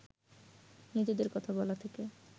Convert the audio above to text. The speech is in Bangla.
নিজেদের কথা বলা থেকে